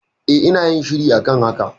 E, ina yin shiri a kan haka.